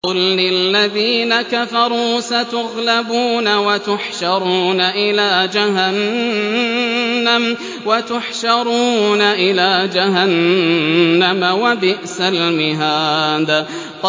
قُل لِّلَّذِينَ كَفَرُوا سَتُغْلَبُونَ وَتُحْشَرُونَ إِلَىٰ جَهَنَّمَ ۚ وَبِئْسَ الْمِهَادُ